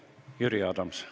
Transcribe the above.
Jüri Adams.